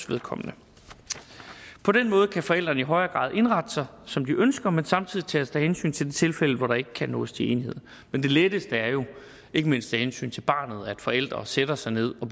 vedkommende på den måde kan forældrene i højere grad indrette sig som de ønsker men samtidig tages der hensyn til de tilfælde hvor der ikke kan nås til enighed men det letteste er jo ikke mindst af hensyn til barnet at forældre sætter sig ned og